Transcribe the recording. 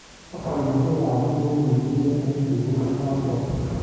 Bokolushek ab bik kokituyo eng sukulinotok.